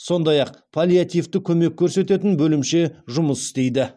сондай ақ паллиативті көмек көрсететін бөлімше жұмыс істейді